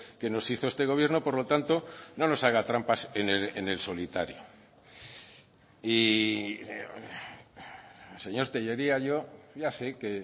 que nos hizo este gobierno por lo tanto no nos haga trampas en el solitario y señor tellería yo ya sé que